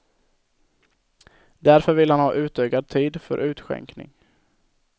Därför vill han ha utökad tid för utskänkning.